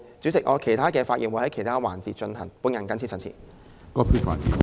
主席，我會在其他環節就不同議題發言。